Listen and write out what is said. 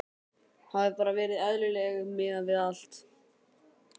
Hafi bara verið eðlileg miðað við allt.